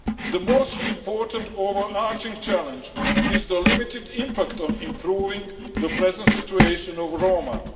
The most important overarching challenge is the limited impact on improving the present situation of Roma.